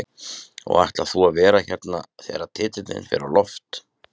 Og ætlar þú að vera hérna þegar titilinn fer á loft?